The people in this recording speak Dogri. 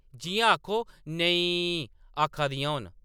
जि’यां आखो “नेईंईं” आखा दियां होन !